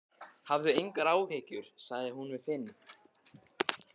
Hafðu engar áhyggjur, sagði hún við Finn.